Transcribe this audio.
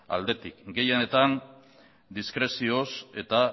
aldetik gehienetan diskrezioz eta